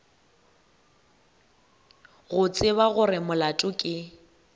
go tseba gore molato ke